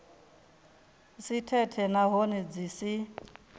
si thethe nahone dzi si